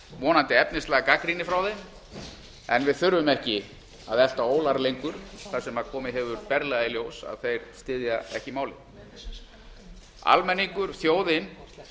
vonandi efnislega gagnrýni frá þeim en við þurfum ekki að elta ólar lengur þar sem komið hefur berlega í ljós að þeir styðja ekki málið almenningur þjóðin